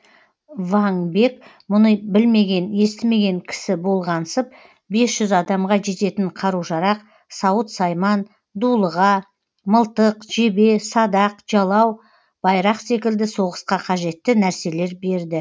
ваң бек бұны білмеген естімеген кісі болғансып бес жүз адамға жететін қару жарақ сауыт сайман дулыға мылтық жебе садақ жалау байрақ секілді соғысқа қажетті нәрселер берді